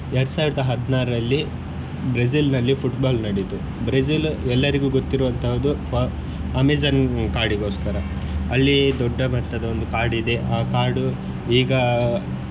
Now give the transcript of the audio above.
ಎರಡ್ ಸಾವಿರದ ಹದ್ನಾರಲ್ಲಿ ಬ್ರೆಜಿಲ್ನಲ್ಲಿ Football ನಡೀತು ಬ್ರೇಜಿಲ್ ಎಲ್ಲರಿಗೂ ಗೊತ್ತಿರುವಂತದ್ದು for~ ಅಮೆಜಾನ್ ಕಾಡಿಗೋಸ್ಕರ ಅಲ್ಲಿ ದೊಡ್ಡ ಮಟ್ಟದ ಒಂದ್ ಕಾಡಿದೆ ಆ ಕಾಡು ಈಗಾ.